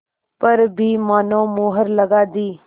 पर भी मानो मुहर लगा दी